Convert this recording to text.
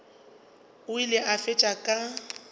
o ile a fetša ka